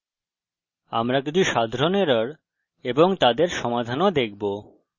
আমরা কিছু সাধারণ errors এবং তাদের সমাধান ও দেখবো